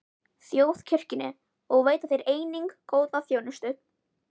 Þjóðkirkjunni og veita þeir einnig góða þjónustu.